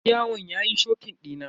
Yar yawon yayi shokin dina.